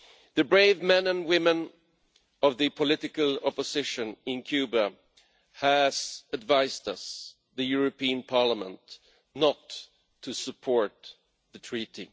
The brave men and women of the political opposition in Cuba have advised us, the European Parliament, not to support the Treaty.